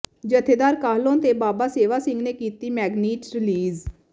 ਜੱਥੇਦਾਰ ਕਾਹਲੋਂ ਤੇ ਬਾਬਾ ਸੇਵਾ ਸਿੰਘ ਨੇ ਕੀਤੀ ਮੈਗਜ਼ੀਨ ਰਿਲੀਜ਼